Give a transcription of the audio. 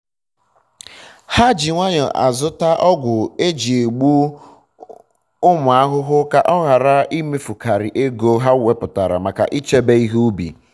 ha ji nwayọ azụta ọgwụ eji egbu ụmụ egbu ụmụ ahụhụ ka ha ghara imefukaria ego ha weputara make ịchebe ihe ubi